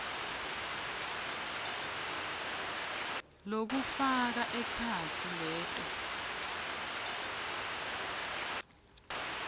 lokufaka ekhatsi leto